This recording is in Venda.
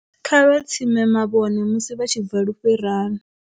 Kha vha tsime mavhone musi vha tshi bva lufherani.